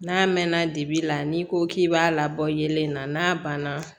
N'a mɛnna dibi la n'i ko k'i b'a labɔ yelen na n'a banna